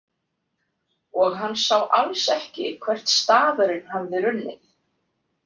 Og hann sá alls ekki hvert stafurinn hafði runnið.